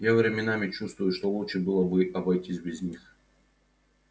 я временами чувствую что лучше было бы обойтись без них